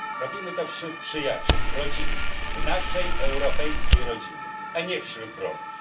Robimy to wśród przyjaciół, w rodzinie, w naszej europejskiej rodzinie, a nie wśród wrogów.